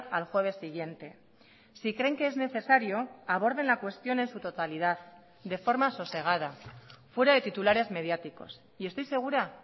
al jueves siguiente si creen que es necesario aborden la cuestión en su totalidad de forma sosegada fuera de titulares mediáticos y estoy segura